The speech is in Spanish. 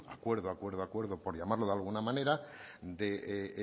acuerdo acuerdo acuerdo por llamarlo de alguna manera de